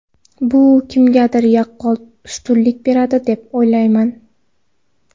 Bu kimgadir yaqqol ustunlik beradi deb o‘ylamayman.